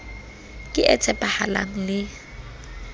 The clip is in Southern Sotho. ke e tshepahalang le e